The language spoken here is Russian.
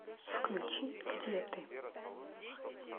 включи где ты